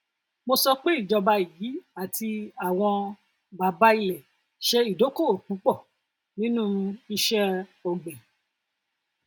mo sọ pé ìjọba yìí àti àwọn bàbá ilẹ ṣe ìdókòwò púpọ nínú iṣẹ ògbìn